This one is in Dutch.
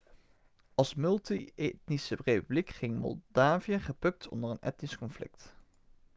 als multi-etnische republiek ging moldavië gebukt onder een etnisch conflict